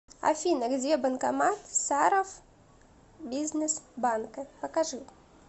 афина где банкомат саровбизнесбанка покажи